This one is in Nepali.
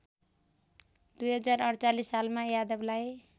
२०४८ सालमा यादवलाई